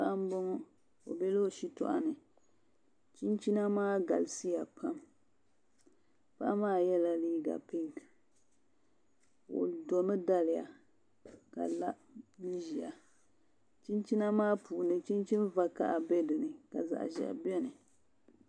Paɣa m-bɔŋɔ o bela o shitɔɣu ni chinchina maa galisiya pam paɣa maa nyɛla yɛla liiga pinki o domi daliya ka la n-ʒiya chinchina maa puuni chinchin' vakaha be dini ka zaɣ' ʒiɛhi beni